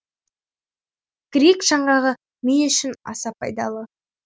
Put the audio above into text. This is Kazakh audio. грек жаңғағы ми үшін аса пайдалы